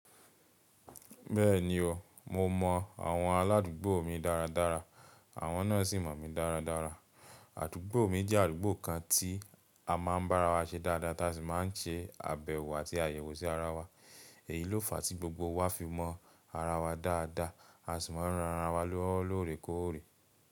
Bẹ́ẹ̀ni o, mo mọ àwọn aládùúgbò mi dáradára àwọn náà sì mọ̀ mí dáradára. Àdúgbò mi jẹ́ àdúgbò kan tí a máa ń bá ara wa ṣe dáadáa táa sì máa ń ṣe àbẹ̀wò àti àyẹ̀wò sí ara wa èyí ló fa tí gbogbo wa fi mọ ara wa dáadáa a sì mọ ń ran ara wa lọ́wọ́ lóòrèkóòrè.